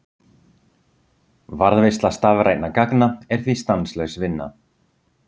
Varðveisla stafrænna gagna er því stanslaus vinna.